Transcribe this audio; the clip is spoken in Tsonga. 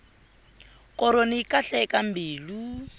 koroni yi kahle eka mbilu